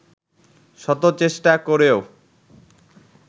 শত চেষ্টা করেও